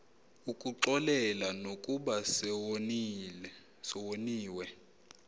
ukuxolela nokuba sewoniwe